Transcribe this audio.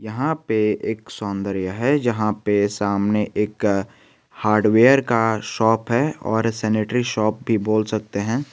यहां पे एक सौंदर्य है जहां पे सामने एक हार्ड वेयर का शॉप है और सेनेटरी शॉप भी बोले सकते हैं।